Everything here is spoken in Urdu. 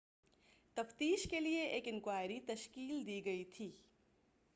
تفتیش کیلئے ایک انکوائری تشکیل دی گئی تھی